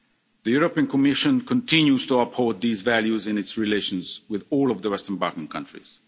The Commission continues to uphold these values in its relations with all of the Western Balkan countries.